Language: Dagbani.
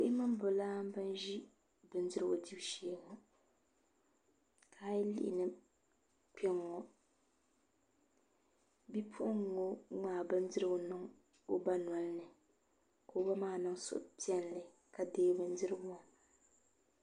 Bihi bi laambi n bɛ bindirigu dibu shee ka a yi lihi kpɛŋŋo bia maa ŋmaai bindirigu niŋ bi ba ŋo nolini ka o ba maa niŋ suhupiɛlli ka deei bindirigu maa